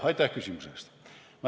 Aitäh küsimuse eest!